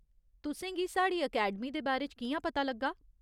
तुसें गी साढ़ी अकैडमी दे बारे च कि'यां पता लग्गा ?